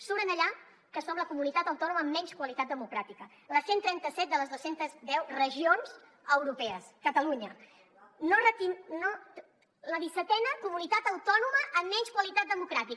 surt allà que som la comunitat autònoma amb menys qualitat democràtica la cent i trenta set de les dos cents i deu regions europees catalunya la dissetena comunitat autònoma amb menys qualitat democràtica